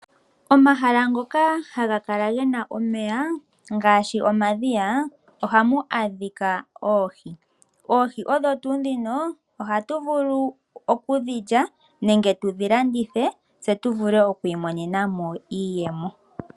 Omahala ngoka haga kala gena omeya ngaashi omadhiya ohamu adhika oohi. Oohi odho tuu dhino ohatu vulu okudhi lya nenge tudhi landithe tse tuvule okwiimonenamo iiyemo.